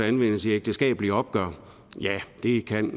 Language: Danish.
anvendes i ægteskabelige opgør ja det kan